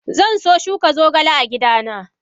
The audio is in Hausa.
Zanso shuka zogale a gidana.